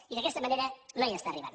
i d’aquesta manera no hi està arribant